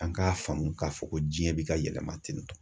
An k'a faamu k'a fɔ ko diɲɛ bɛ ka yɛlɛma tentɔ.